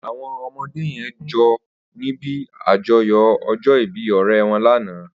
Awọn ọmọdé yèn jó nibi àjọ̀yọ̀ ọjọ ìbì ọrẹ wọn làná